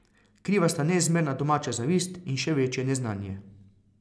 Kriva sta neizmerna domača zavist in še večje neznanje.